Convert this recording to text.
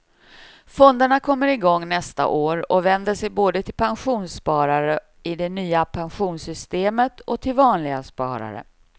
Fonderna kommer igång nästa år och vänder sig både till pensionssparare i det nya pensionssystemet och till vanliga sparare.